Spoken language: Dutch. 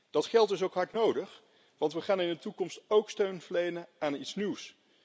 Dat geld is ook hard nodig, want we gaan in de toekomst ook steun verlenen aan iets nieuws.